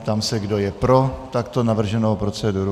Ptám se, kdo je pro takto navrženou proceduru.